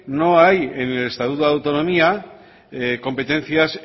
no hay en el estatuto de autonomía competencias